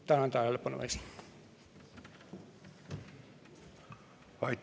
Tänan tähelepanu eest!